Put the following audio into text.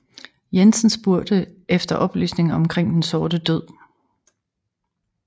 Jensen spurgt efter oplysninger omkring den sorte død